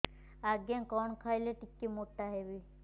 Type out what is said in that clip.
ଆଜ୍ଞା କଣ୍ ଖାଇଲେ ଟିକିଏ ମୋଟା ହେବି